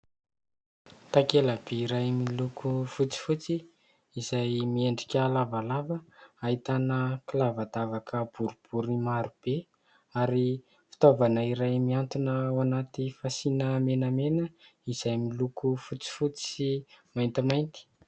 Takela-by iray miloko fotsifotsy izay miendrika lavalava ahitana kilavadavaka boribory maro be ary fitaovana iray mihantona ao anaty fasiana menamena izay miloko fotsifotsy sy maintimainty.